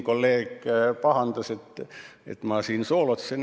Kolleeg pahandas, et ma siin soolotsen.